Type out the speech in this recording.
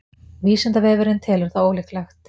vísindavefurinn telur það ólíklegt